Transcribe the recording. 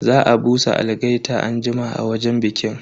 Za a busa algaita anjima a wajen bikin.